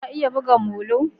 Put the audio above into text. ka iya buga molo